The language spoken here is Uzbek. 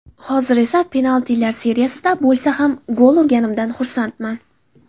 Hozir esa penaltilar seriyasida bo‘lsa ham gol urganimdan xursandman.